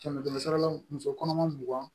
Kɛmɛ kɛmɛ sara la muso kɔnɔma mugan